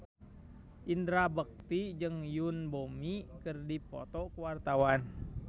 Indra Bekti jeung Yoon Bomi keur dipoto ku wartawan